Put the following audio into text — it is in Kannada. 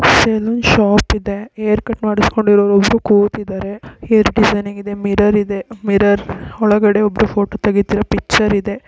ಸಲೂನ್ ಶಾಪ್ ಇದೆ ಹೇರ್ ಕಟ್ ಮಾಡಿಸ್ಕೊಂಡಿರೊರೊಬ್ರು ಕೂತಿದ್ದಾರೆ ಹೇರ್ ಡಿಸೈನ್ನಾಗಿದೆ ಮಿರರ್ ಇದೆ ಮಿರರ್ ಒಳಗಡೆ ಫೋಟೋ ತೆಗೀತಿರೋ ಪಿಕ್ಚರ್ ಇದೆ.